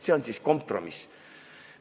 See on siis kompromiss.